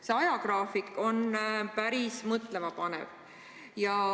See ajagraafik on päris mõtlemapanev.